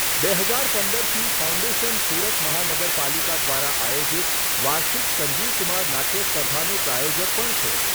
બે હજાર પંદરથી ફાઉન્ડેશન સુરત મહાનગરપાલિકા દ્વારા આયોજિત વાર્ષિક સંજીવ કુમાર નાટ્ય સ્પર્ધાનું પ્રાયોજક પણ છે.